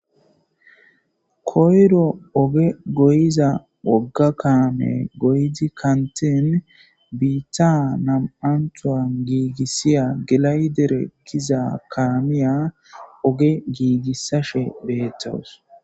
Koyero oge gigisiza woga kamey goyid kantin biitta nam'antuwan giigisiza gilayidere getetiya kemiya gigisashe beetawusi.